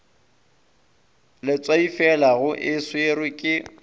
letswaifela go e swerwe ke